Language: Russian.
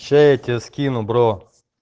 сейчас я тебе скину бро